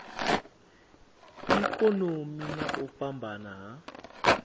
ikonomi na u fhambana ha